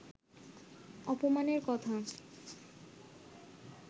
অপমানের কথা